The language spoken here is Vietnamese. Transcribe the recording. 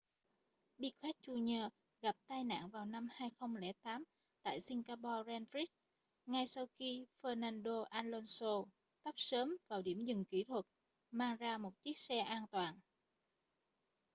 piquet jr gặp tai nạn vào năm 2008 tại singapore grand prix ngay sau khi fernando alonso tấp sớm vào điểm dừng kỹ thuật mang ra một chiếc xe an toàn